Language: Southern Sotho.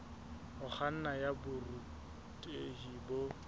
ho kganna ya borutehi bo